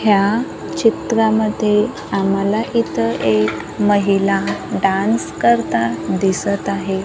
ह्या चित्रांमध्ये आम्हाला इतर एक महिला डान्स करताना दिसत आहे.